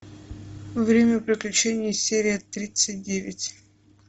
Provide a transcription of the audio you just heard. время приключений серия тридцать девять